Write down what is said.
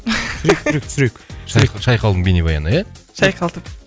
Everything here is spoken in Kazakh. түсірейік түсірейік түсірейік түсірейік шайқалдың бейнебаянына иә шайқалтып